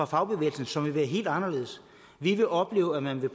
fagbevægelsen som vil være helt anderledes vi vil opleve at man vil